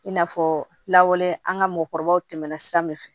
I n'a fɔ lawale an ka mɔgɔkɔrɔbaw tɛmɛna sira min fɛ